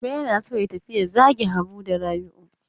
Gobe yana so ya tafi ya zage Habu da Rabi'u.